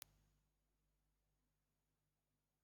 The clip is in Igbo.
Gaa kpọọ ogene ozugbo!